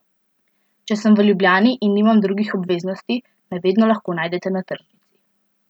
Če sem v Ljubljani in nimam drugih obveznosti, me vedno lahko najdete na tržnici.